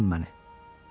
Buraxın məni.